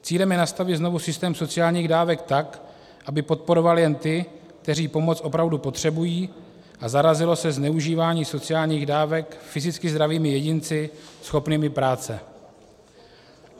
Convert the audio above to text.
Cílem je nastavit znovu systém sociálních dávek tak, aby podporoval jen ty, kteří pomoc opravdu potřebují, a zarazilo se zneužívání sociálních dávek fyzicky zdravými jedinci schopnými práce.